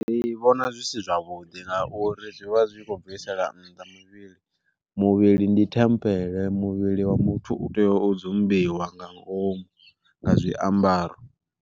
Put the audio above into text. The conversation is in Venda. Ndi vhona zwi si zwavhuḓi nga uri zwi vha zwi kho bvisela nnḓa muvhili, muvhili ndi thembele muvhili wa muthu u tea u dzumbiwa nga ngomu nga zwiambaro.